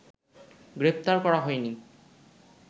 গ্রেপ্তার করা হয়নি